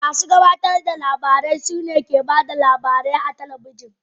Masu gabatar da labarai su ne ke ba da labarin labarai a talabijin